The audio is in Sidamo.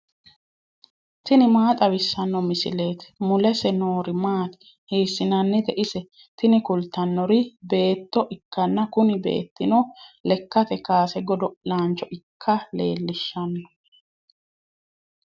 tini maa xawissanno misileeti ? mulese noori maati ? hiissinannite ise ? tini kultannori beetto ikkanna kuni beettino lekkate kaase godo'laancho ikka leellishshanno.